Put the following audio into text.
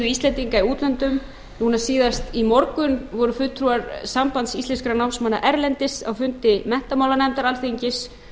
íslendinga í útlöndum núna síðast í morgun voru fulltrúar sambands íslenskra námsmanna erlendis á fundi menntamálanefndar alþingis